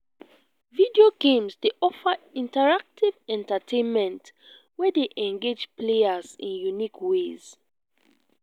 video games dey offer interactive entertainment wey dey engage players in unique ways.